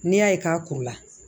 N'i y'a ye k'a kuru la